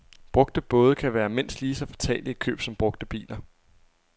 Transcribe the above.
Brugte både kan være mindst lige så fatale i køb som brugte biler.